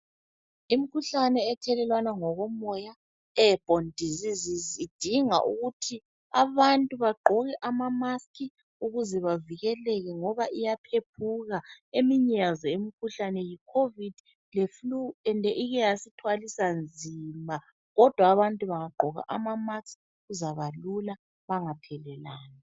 Imikhuhlane ethelelwana ngokomoya (airborne diseases), idinga ukuthi abantu bagqoke ama- mask ukuze bavikeleke ngoba iyaphephuka. Eminye yazo imikhuhlane yi- Covid leFlue ende ike yasithwalisa nzima. Kodwa abantu bangagqoka ama mask kuzabalula bangathelelani.